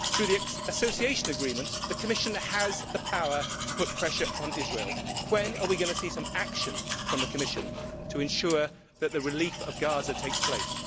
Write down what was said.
Through the Association Agreement, the Commission has the power to put pressure upon Israel. When are we going to see some action from the Commission to ensure that the relief of Gaza takes place?